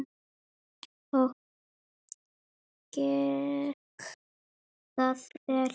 Og gekk það vel?